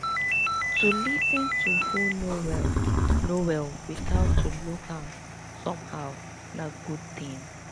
to lis ten to who no well no well without to look am somehow na good thing